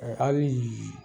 Ɛ hakili jigin